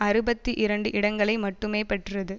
அறுபத்தி இரண்டு இடங்களை மட்டுமே பெற்றது